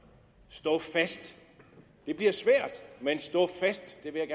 stå fast det bliver svært men stå fast det vil